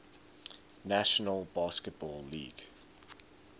national basketball league